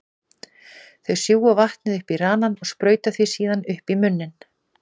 Þeir sjúga vatnið upp í ranann og sprauta því síðan upp í munninn.